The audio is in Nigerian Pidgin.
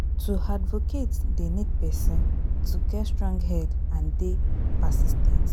To advocate dey need person to get strong head and dey persis ten t